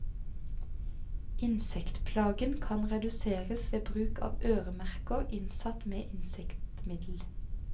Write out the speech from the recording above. Insektplagen kan reduseres ved bruk av øremerker innsatt med insektmiddel.